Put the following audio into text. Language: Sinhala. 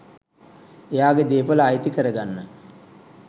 එයාගෙ දේපල අයිති කරගන්න.